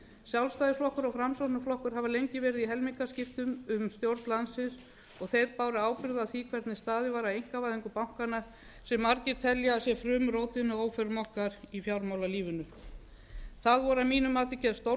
sjálfstæðisflokkur og framsóknarflokkur hafa lengi verið í helmingaskiptum um stjórn landsins og þeir báru ábyrgð á því hvernig staðið var að einkavæðingu bankanna sem margir telja að sé frumrótin að óförum okkar í fjármálalífinu þar voru að mínu mati gerð stórkostleg